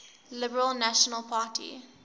liberal national party